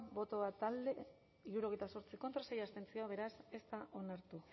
bat boto alde hirurogeita zortzi contra sei abstentzio beraz ez da onartu